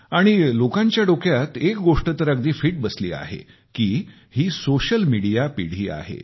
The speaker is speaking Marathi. आणि लोकांच्या डोक्यात एक गोष्ट तर अगदी पक्की बसली आहे की ही सोशल मिडिया पिढी आहे